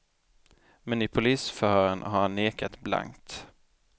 Men i polisförhören har han nekat blankt.